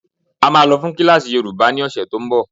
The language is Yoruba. A máa lọ fún kílásì yoòbá ní ọ̀sẹ̀ tó n bọ̀